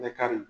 Bɛ kari